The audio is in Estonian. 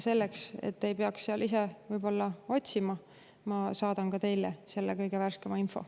Selleks et te ei peaks seal ise otsima, saadan ma ka teile kõige värskema info.